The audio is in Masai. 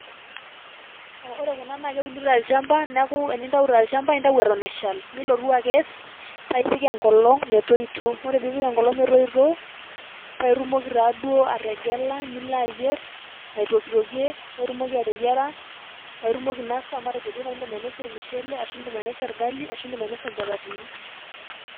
Ore kuna naake euni tolchamba neeku enintau tolchamba nintau eton eshal nilotu akes nipik enkolong' metoito. Ore piipik enkolong' metoito, paake itumoki taaduo ategela nilo ayier aitokitokie paake itumoki ateyiara paake itumoki ainasa matejo nai indim ainosie ormushele, ashu indim ainosie orgali ashu indim ainosie nchapatini.